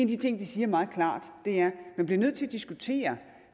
de ting det siger meget klart er at man bliver nødt til at diskutere